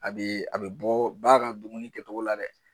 A bɛ a bɛ bɔ ba ka dumuni kɛcogo la dɛ.